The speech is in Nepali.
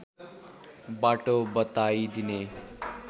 बाटो बताइदिने